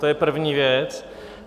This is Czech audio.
To je první věc.